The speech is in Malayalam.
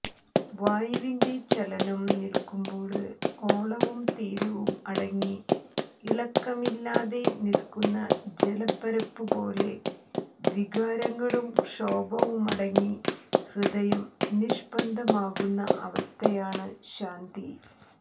വായുവിന്റെ ചലനം നില്ക്കുമ്പോള് ഓളവും തീരവും അടങ്ങി ഇളക്കമില്ലാതെ നില്ക്കുന്ന ജലപ്പരപ്പുപോലെ വികാരങ്ങളും ക്ഷോഭവുമടങ്ങി ഹൃദയം നിഷ്പന്ദമാകുന്ന അവസ്ഥയാണു ശാന്തി